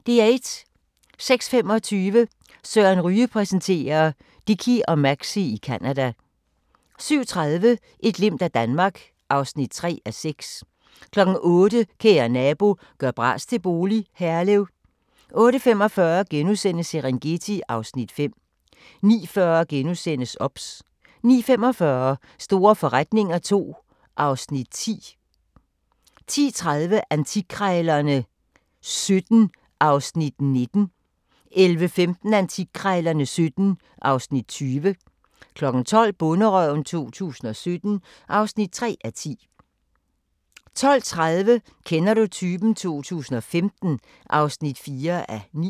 06:25: Søren Ryge præsenterer: Dickie og Maxie i Canada 07:30: Et glimt af Danmark (3:6) 08:00: Kære nabo – gør bras til bolig – Herlev 08:45: Serengeti (Afs. 5)* 09:40: OBS * 09:45: Store forretninger II (Afs. 10) 10:30: Antikkrejlerne XVII (Afs. 19) 11:15: Antikkrejlerne XVII (Afs. 20) 12:00: Bonderøven 2017 (3:10) 12:30: Kender du typen? 2015 (4:9)